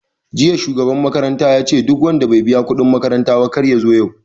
Jiya shugaban makaranta yace duk wanda bai biya kuɗin makaranta ba kar yazo yau